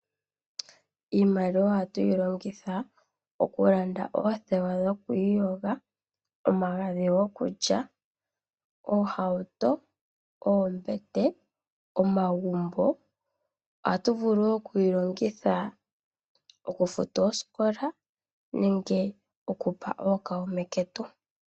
Iimaliwa ohatu yi longitha okulanda oothewa dhoku iyoga, omagadhi gokulya, oohauto, oombete nomagumbo. Ohatu vulu wo okuyi longitha okufuta oosikola nenge okupa ookuume ketu.